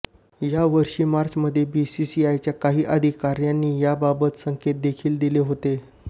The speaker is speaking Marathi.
यावर्षी मार्चमध्ये बीसीसीआयच्या काही अधिकाऱ्यांनी याबाबत संकेत देखील दिले होते